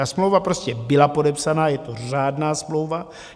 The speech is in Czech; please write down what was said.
Ta smlouva prostě byla podepsaná, je to řádná smlouva.